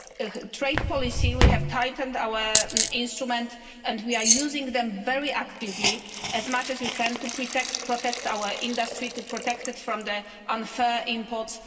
In trade policy, we have tightened our instruments and we are using them very actively, as much as we can, to protect our industry, to protect it from unfair imports